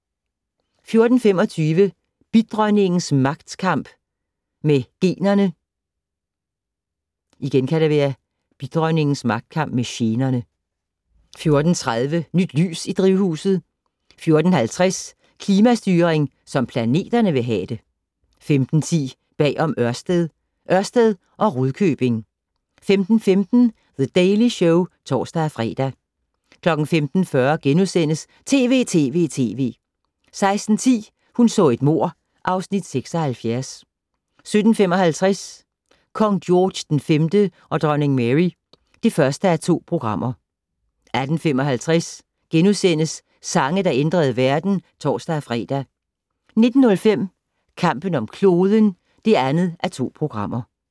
14:25: Bidronningens magtkamp med generne 14:30: Nyt lys i drivhuset 14:50: Klimastyring som planterne vil have det 15:10: Bag om Ørsted - Ørsted og Rudkøbing 15:15: The Daily Show (tor-fre) 15:40: TV!TV!TV! * 16:10: Hun så et mord (Afs. 76) 17:55: Kong George V og dronning Mary (1:2) 18:55: Sange, der ændrede verden *(tor-fre) 19:05: Kampen om kloden (2:2)